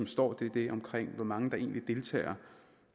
står om hvor mange der deltager